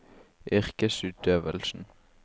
yrkesutøvelsen